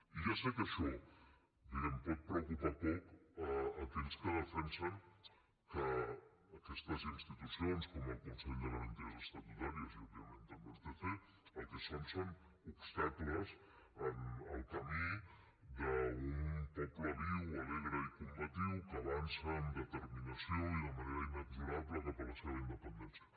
i ja sé que això diguem ne pot preocupar poc a aquells que defensen que aquestes institucions com el consell de garanties estatutàries i òbviament també el tc el que són són obstacles en el camí d’un poble viu alegre i combatiu que avança amb determinació i de manera inexorable cap a la seva independència